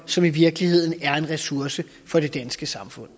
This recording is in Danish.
som i virkeligheden er en ressource for det danske samfund